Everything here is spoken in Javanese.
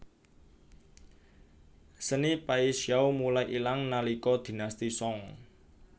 Seni Paixiao mulai ilang nalika Dinasti Song